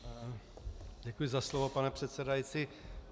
Děkuji za slovo, pane předsedající.